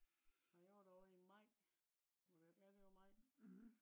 Jeg var der ovre i Maj øh ja det var maj